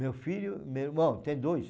Meu filho, meu irmão, tem dois.